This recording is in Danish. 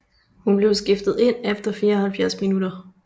Hun blev skiftet ind efter 74 minutter